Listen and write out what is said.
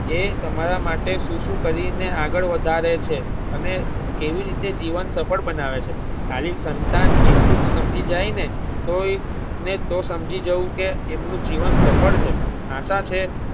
એ તમારા માટે શું શું કરી ને આગળ વધારે છે અને કેવી રીતે જીવન સફળ બનાવે છે. ખાલી સંતાન એટલું જ સમજી જાય ને તોય ને તો સમજી જવું કે એમનું જીવન સફળ છે. આશા છે